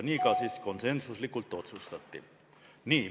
Nii konsensusega ka otsustati.